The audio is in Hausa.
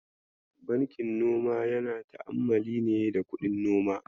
Bankin noma yana ta'ammali ne da kuɗin noma.